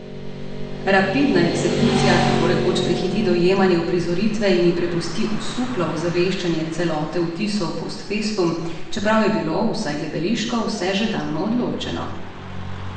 Rapidna eksekucija tako rekoč prehiti dojemanje uprizoritve in ji prepusti osuplo ozaveščanje celote vtisov post festum, čeprav je bilo, vsaj gledališko, vse že davno odločeno.